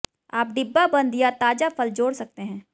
आप डिब्बाबंद या ताजा फल जोड़ सकते हैं